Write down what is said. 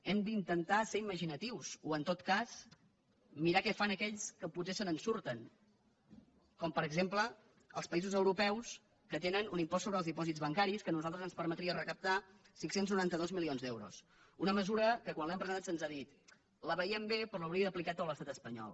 hem d’intentar ser imaginatius o en tot cas mirar què fan aquells que potser se’n surten com per exemple els països europeus que tenen un impost sobre els dipòsits bancaris que a nosaltres ens permetria recaptar cinc cents i noranta dos milions d’euros una mesura que quan l’hem presentat se’ns ha dit la veiem bé però l’hauria d’aplicar tot l’estat espanyol